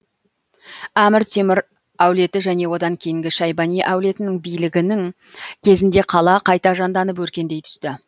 әмір темір әулеті және одан кейінгі шайбани әулетінің билігінің кезінде қала қайта жанданып өркендей түсті